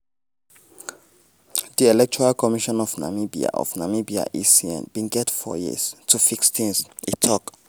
"di electoral commission of namibia of namibia [ecn] bin get four years to fix tins" e tok.